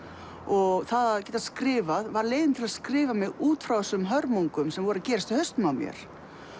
og það að geta skrifað var leiðin til að skrifa mig út frá þessum hörmungum sem voru að gerast í hausnum á mér